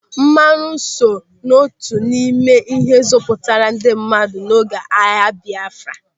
Mmanụ so n'otu n'ime ihe zọpụtara ndị mmadụ n'oge agha Biafra.